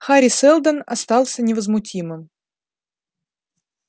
хари сэлдон остался невозмутимым